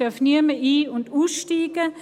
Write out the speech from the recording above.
Es darf niemand ein- oder aussteigen.